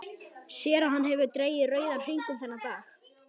Sér að hann hefur dregið rauðan hring um þennan dag.